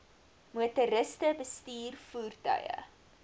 motoriste bestuur voertuie